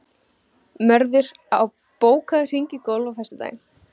Mörður, bókaðu hring í golf á föstudaginn.